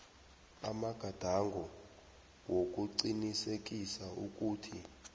amagadango wokuqinisekisa ukuthi